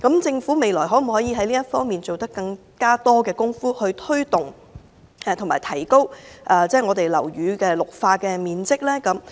政府未來可以在這方面多花工夫，從而提高樓宇的綠化面積。